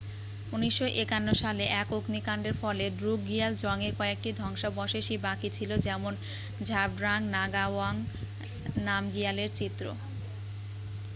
1951 সালে এক অগ্নিকাণ্ডের ফলে ড্রুকগিয়াল জংয়ের কয়েকটি ধ্বংসাবশেষই বাকি ছিল যেমন ঝাবড্রাং নাগাওয়াং নামগিয়ালের চিত্র